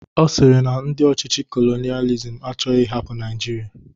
Ọ sịrị na ndị ọchịchị kolonialism achọghị ịhapụ Naịjirịa